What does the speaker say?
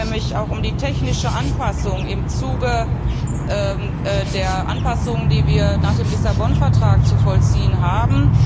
Da geht es nämlich auch um die technische Anpassung im Zuge der Anpassungen, die wir nach dem Lissabon Vertrag zu vollziehen haben.